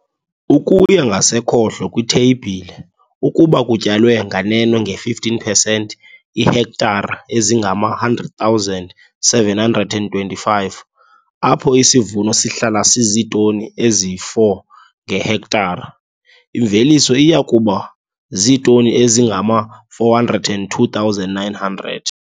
Ukuya ngasekhohlo kwitheyibhile, ukuba kutyalwe nganeno nge-15 percent, iihektara ezingama-100 725, apho isivuno sihlala siziitoni eziyi-4 ngehektara, imveliso iya kuba ziitoni ezingama-402 900.